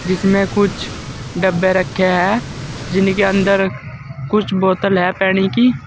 इसमें कुछ डब्बे रखे हैं जिनके अंदर कुछ बोतल है पानी की।